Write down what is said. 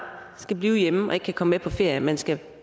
skal blive hjemme og ikke kan komme med på ferie men skal